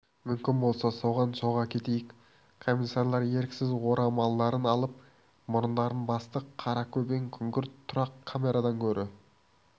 мүмкін болса соған соға кетейік комиссарлар еріксіз орамалдарын алып мұрындарын басты қаракөбең күңгірт тұрақ камерадан гөрі